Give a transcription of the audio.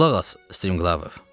Qulaq as Striqlavov.